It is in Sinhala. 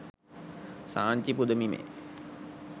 සාංචි පුදබිමේ